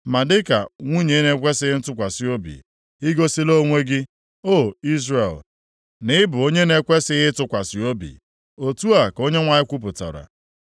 Ma dịka nwunye na-ekwesighị ntụkwasị obi, i gosila onwe gị, O Izrel na ị bụ onye a na-ekwesighị ịtụkwasị obi” Otu a ka Onyenwe anyị kwupụtara.